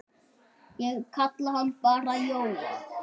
Ég kalla hann bara Jóa.